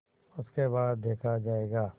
उसके बाद देखा जायगा